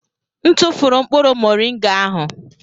M tụfụrụ mkpụrụ moringa ahụ.